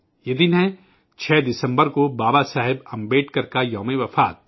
یہ دن ہے، 6 دسمبر کو بابا صاحب امبیڈکر کی برسی